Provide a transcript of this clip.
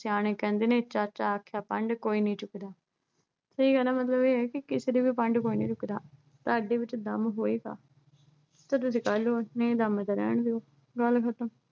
ਸਿਆਣੇ ਕਹਿੰਦੇ ਨੇ ਚਾਚਾ ਆਖਿਆ, ਪੰਡ ਕੋਈ ਨਹੀਂ ਚੁੱਕਦਾ। ਇਹੀ ਆ ਨਾ ਮਤਲਬ ਏ ਆ ਕਿ ਕਿਸੇ ਦੀ ਵੀ ਪੰਡ ਕੋਈ ਨਹੀਂ ਚੁੱਕਦਾ ਤੁਹਾਡੇ ਵਿੱਚ ਦਮ ਹੋਏਗਾ ਤਦ ਤੇ ਕਰਲੋ, ਨਹੀਂ ਦਮ ਏ ਤਾਂ ਰਹਿਣ ਦੋ ਗੱਲ ਖਤਮ।